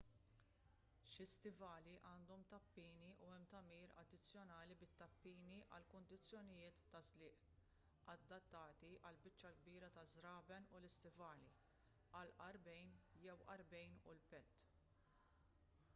xi stivali għandhom tappini u hemm tagħmir addizzjonali bit-tappini għal kundizzjonijiet ta' żliq adattati għall-biċċa l-kbira taż-żraben u l-istivali għall-għarqbejn jew għarqbejn u l-pett